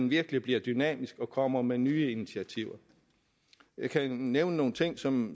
virkelig bliver dynamisk og kommer med nye initiativer jeg kan nævne en ting som